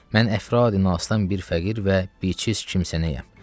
Mən əfradini asıdan bir fəqir və bişis kimsənəyəm.